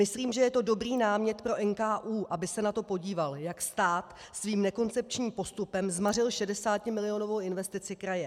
Myslím, že je to dobrý námět pro NKÚ, aby se na to podíval, jak stát svým nekoncepčním postupem zmařil 60milionovou investici kraje.